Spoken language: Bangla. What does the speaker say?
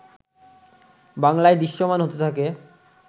বাংলায় দৃশ্যমান হতে থাকে